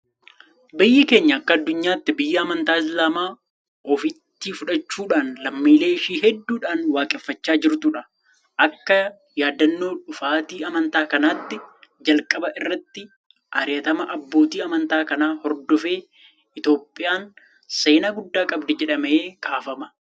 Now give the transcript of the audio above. Biyyi keenya akka addunyaatti biyya amantaa Islaamaa ofitti fudhachuudhaan lammiilee ishee hedduudhaan waaqeffachaa jirtudha. Akka yaadannoo dhufaatii amantaa kanaattis jalqaba irratti ari'atama abbootii amantaa kanaa hordofee Itoophiyaan seenaa guddaa qabdi jedhamee kaafama.